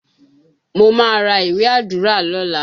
Mo má ra ìwé Àdúrà lọ́la.